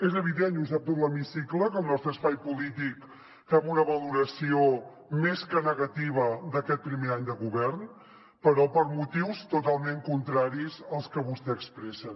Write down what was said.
és evident i ho sap tot l’hemicicle que el nostre espai polític fem una valoració més que negativa d’aquest primer any de govern però per motius totalment contraris als que vostès expressen